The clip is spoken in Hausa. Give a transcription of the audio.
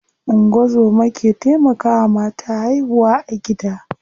Ungozoma ke taimakawa mata haihuwa a gida.